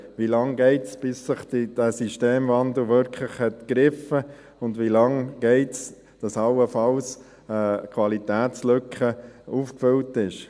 Wie lange geht es, bis dieser Systemwandel wirklich gegriffen hat, und wie lange dauert es, bis allenfalls die Qualitätslücke aufgefüllt ist?